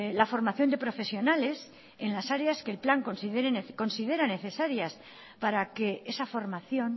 la formación de profesionales en las áreas que el plan considera necesarias para que esa formación